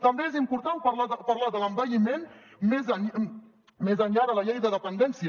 també és important parlar de l’envelliment més enllà de la llei de dependència